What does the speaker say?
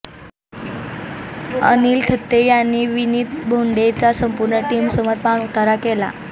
अनिल थत्ते यांनी विनीत भोंडेचा संपूर्ण टीम समोर पाणउतारा केला